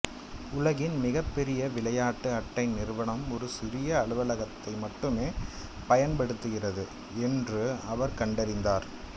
உலகின் மிகப்பெரிய விளையாட்டு அட்டை நிறுவனம் ஒரு சிறிய அலுவலகத்தை மட்டுமே பயன்படுத்துகிறது என்று அவர் கண்டறிந்தார்